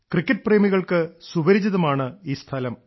cricket പ്രേമികൾക്ക് സുപരിചിതമാണ് ഈ സ്ഥലം